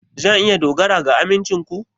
Zan iya dogara ga amincin ku?